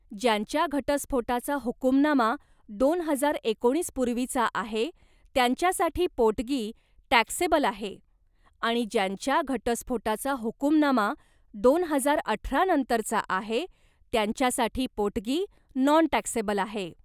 ज्यांच्या घटस्फोटाचा हुकूमनामा दोन हजार एकोणीस पूर्वीचा आहे त्यांच्यासाठी पोटगी टॅक्सेबल आहे आणि ज्यांच्या घटस्फोटाचा हुकूमनामा दोन हजार अठरानंतरचा आहे, त्यांच्यासाठी पोटगी नॉन टॅक्सेबल आहे.